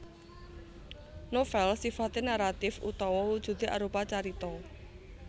Novèl sifaté naratif utawa wujudé arupa carita